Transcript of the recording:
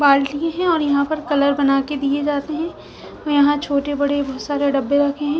बाल्टी है और यहाँ पे कलर बना के दिए जाते है और यहाँ छोटे बड़े बोहोत सारे डब्बे रखे है।